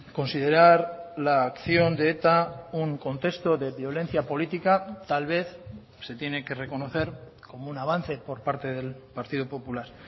considerar la acción de eta un contexto de violencia política tal vez se tiene que reconocer como un avance por parte del partido popular